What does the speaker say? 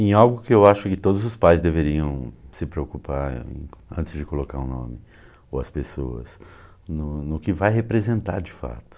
Em algo que eu acho que todos os pais deveriam se preocupar, antes de colocar o nome, ou as pessoas, no no que vai representar de fato.